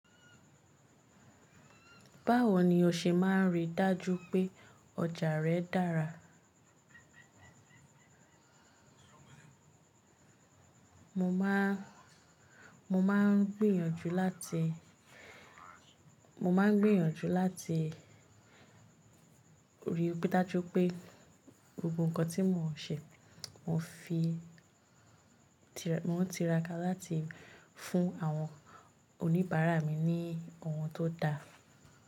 Báwo ni o ṣe máa rí dájú pé ọjà rẹ dára? Mo máa, mo máa ń gbìyànjú láti, mo máa ń gbìyànjú láti ríi dájú pé gbogbo nkan tí mò ń ṣe, mò ń fi mo ń tiraka láti fún àwọn oníbàárà mi ní ohun tó da.